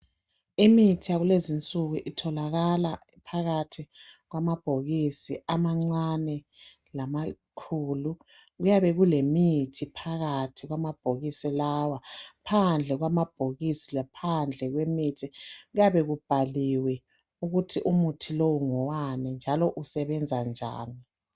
Imithi yakulezi nsuku itholakala phakathi kwamabhokisi amancane lamakhulu kuyabe kulemithi phakathi kwamabhokosi lawa. Phandle kwamabhokosi laphandle kwemithi kuyabe kubhaliwe ukuthi umuthi lowo ngowani njalo usebenza njani